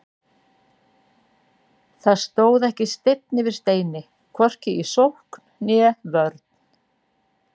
Það stóð ekki steinn yfir steini, hvorki í sókn né vörn.